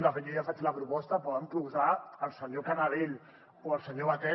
de fet jo ja faig la proposta poden posar el senyor canadell o el senyor batet